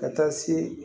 Ka taa se